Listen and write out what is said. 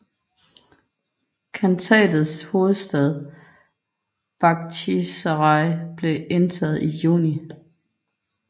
Khantatets hovedstad Bakhtjisaraj blev indtaget i juni